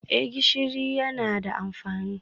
Eh gishiri yana da amfani